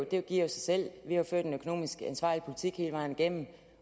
det giver sig selv vi har ført en økonomisk ansvarlig politik hele vejen igennem